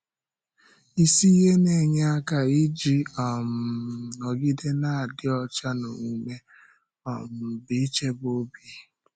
Isi ihe na-enye aka iji um nọgide na-adị ọcha n’omume um bụ ichebe ọ̀bì.